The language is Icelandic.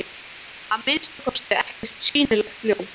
Að minnsta kosti ekkert sýnilegt ljós.